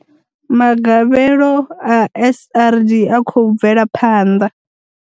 Magavhelo a SRD a khou bvela phanḓa.